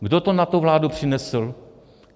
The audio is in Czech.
Kdo to na tu vládu přinesl?